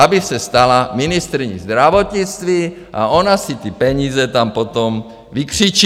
Aby se stala ministryní zdravotnictví a ona si ty peníze tam potom vykřičí.